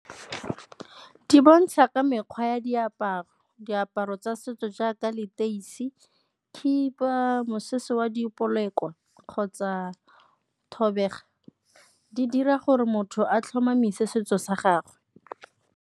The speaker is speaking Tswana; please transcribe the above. Di bontsha ka mekgwa ya diaparo, diaparo tsa setso jaaka leteisi, khiba, mosese wa kwa kgotsa thobega, di dira gore motho a tlhomamise setso sa gagwe.